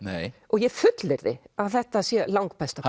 ég fullyrði að þetta sé langbesta